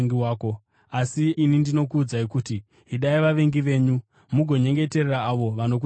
Asi ini ndinokuudzai kuti, Idai vavengi venyu, mugonyengeterera avo vanokutambudzai,